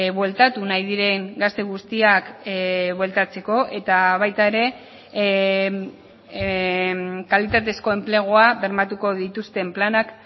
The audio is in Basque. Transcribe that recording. bueltatu nahi diren gazte guztiak bueltatzeko eta baita ere kalitatezko enplegua bermatuko dituzten planak